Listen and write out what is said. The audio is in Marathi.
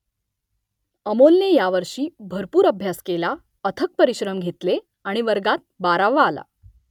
अमोलने यावर्षी भरपूर अभ्यास केला अथक परिश्रम घेतले आणि वर्गात बारावा आला